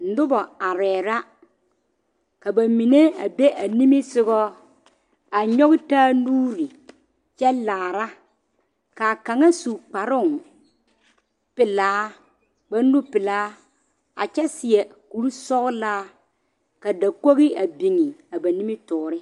Noba arɛɛ la ka ba mine a be a nimisoga a nyɔge taa nuure kyɛ laara ka kaŋa su kparoŋ pelaa kparenupelaa a kyɛ seɛ kurisɔglaa ka dakogi a biŋe a ba nimitɔɔre.